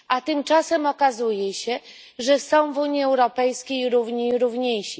Tymczasem okazuje się, że są w Unii Europejskiej równi i równiejsi.